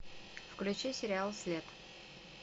включи сериал след